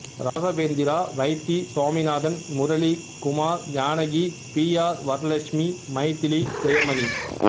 Raghavendra Vaithi Saminathan Murali Kumar Janaki P R Varalakshmi Mythili Jayamani